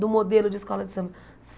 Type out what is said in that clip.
do modelo de escola de samba.